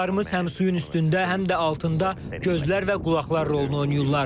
Qayıqlarımız həm suyun üstündə, həm də altında gözlər və qulaqlar rolunu oynayırlar.